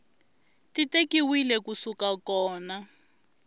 ti tekiwile ku suka kona